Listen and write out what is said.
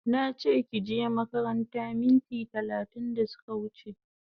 Nache kije makaranta minti talatin da suka wuche